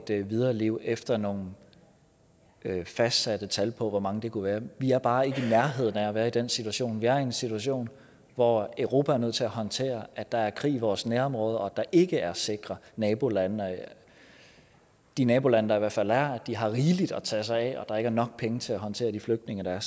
videre liv efter nogle fastsatte tal på hvor mange det kunne være vi er bare ikke i nærheden af at være i den situation vi er i en situation hvor europa er nødt til at håndtere at der er krig i vores nærområde og at der ikke er sikre nabolande de nabolande der i hvert fald er har rigeligt at tage sig af og at der nok penge til at håndtere de flygtninge der